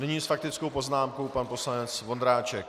Nyní s faktickou poznámkou pan poslanec Vondráček.